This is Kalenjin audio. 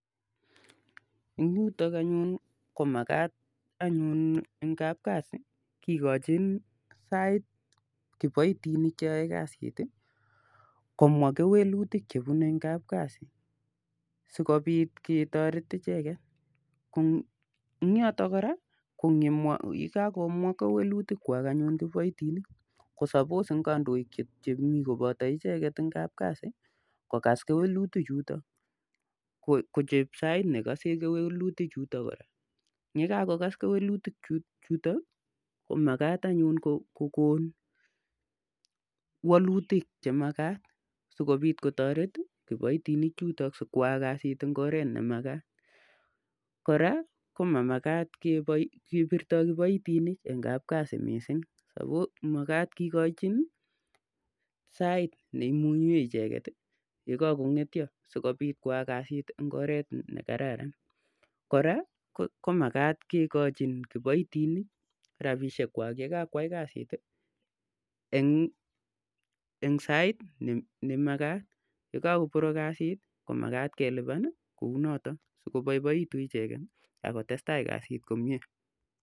Eng yutok anyun eng kapkazi komakat kikochin saiit kiboitinik cheoeii kazit Ii komwaa kewelutik chebunee ichek eng kapkazi sikopiit kotoret ichek kandoikkwak